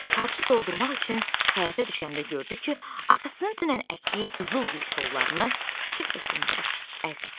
Parç doldurmaq üçün həyətə düşəndə gördü ki, atasının dünən əkdiyi qızıl gül kollarını kimsə sındırıb əzib.